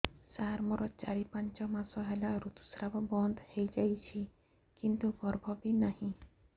ସାର ମୋର ଚାରି ପାଞ୍ଚ ମାସ ହେଲା ଋତୁସ୍ରାବ ବନ୍ଦ ହେଇଯାଇଛି କିନ୍ତୁ ଗର୍ଭ ବି ନାହିଁ